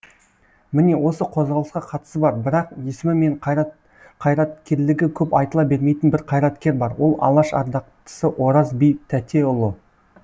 міне осы қозғалысқа қатысы бар бірақ есімі мен қайраткерлігі көп айтыла бермейтін бір қайраткер бар ол алаш ардақтысы ораз би тәтеұлы